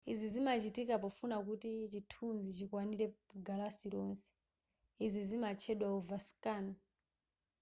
izi zimachitika pofuna kuti chithunzi chikwanire galasi lonse izi zimatchedwa overscan